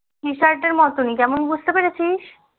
t-shirt এর মতোনি কেমন বুজতে পেরেছিস